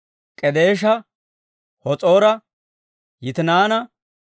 K'edeesha, Has'oora, Yitinaana,